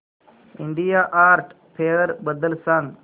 India art fair बद्दल सांग